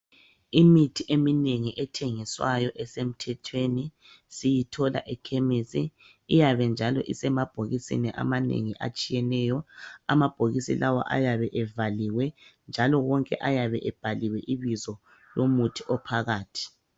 Imithi eminengi ethengiswayo esemthethweni siyithola ekhemesi. Iyabe njalo isemabhokisini amanengi atshiyeneyo, amabhokisi lawo ayabe evaliwe. Njalo wonke ayabe ebhaliwe ibizo lomuthi ophakathi.